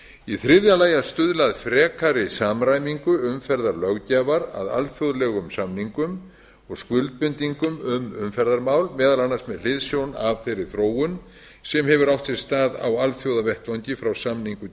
í þriðja lagi að stuðla að frekari samræmingu umferðarlöggjafar að alþjóðlegum samningum og skuldbindingum um umferðarmál meðal annars með hliðsjón af þeirri þróun sem hefur átt sér stað á alþjóðavettvangi frá samningu